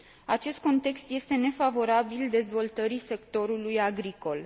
Acest context este nefavorabil dezvoltării sectorului agricol.